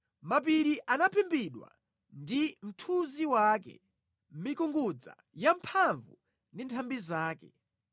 Mapiri anaphimbidwa ndi mthunzi wake, mikungudza yamphamvu ndi nthambi zake.